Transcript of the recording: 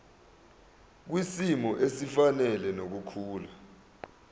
kwisimo esifanele nokukhula